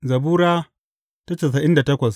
Zabura Sura casa'in da takwas